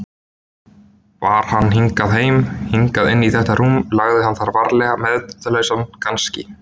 bar hann hingað heim, hingað inn í þetta rúm, lagði hann þar varlega meðvitundarlausan, kannski.